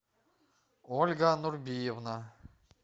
ольга нурбиевна